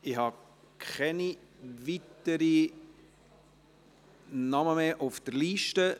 Ich habe keine weiteren Namen mehr auf der Liste.